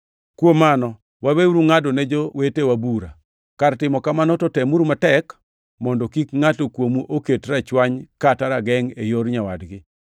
Kuom mano, waweuru ngʼado ne jowetewa bura. Kar timo kamano to temuru matek mondo kik ngʼato kuomu oket rachwany kata ragengʼ e yor nyawadgi.